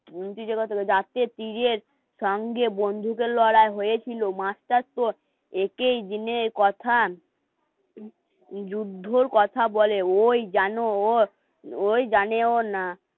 কান দিয়ে বন্দুকের লড়াই হয়েছিল মাস্টার তোর একেই জেনে কথা যুদ্ধর কথা বলে ওই জানো ওর ওই জানেও